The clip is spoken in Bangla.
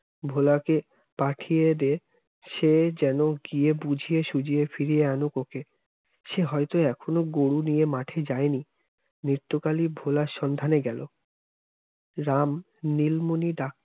ভোলাকে পাঠিয়ে দে সে যেন গিয়ে বুঝিয়ে সুুঝিয়ে ফিরিয়ে আনুক ওকে সে হয়তো এখনো গরু নিয়ে মাঠে যায়নি নৃত্য কালী ভোলার সন্ধানে গেল রাম নীলমণি